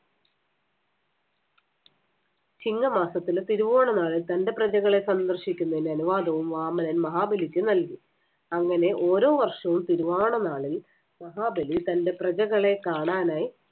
ചിങ്ങമാസത്തിലെ തിരുവോണനാളിൽ തന്‍റെ പ്രജകളെ സന്ദർശിക്കുന്നതിന് അനുവാദവും വാമനൻ മഹാബലിക്ക് നൽകി. അങ്ങനെ ഓരോ വർഷവും തിരുവോണനാളിൽ മഹാബലി തന്‍റെ പ്രജകളെ കാണാനായി